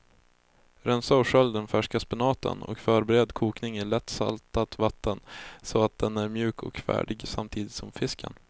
Rensa och skölj den färska spenaten och förbered kokning i lätt saltat vatten så att den är mjuk och färdig samtidigt som fisken.